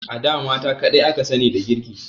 A da mata kadai aka sani da girki